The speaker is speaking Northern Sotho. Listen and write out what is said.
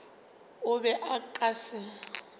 o be o ka se